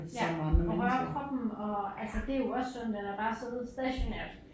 Ja og røre kroppen og altså det jo også sundt end at bare sidde stationært